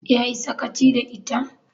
Ya yi sakaci da ita?